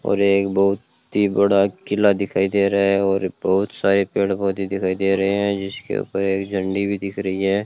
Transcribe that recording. और एक बहुत ही बड़ा किला दिखाई दे रहा है और बहुत सारे पेड़ पौधे दिखाई दे रहे हैं जिसके ऊपर एक झंडी भी दिख रही है।